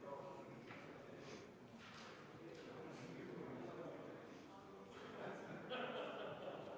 Kohalolijaks registreeris ennast 90 Riigikogu liiget, puudub 11.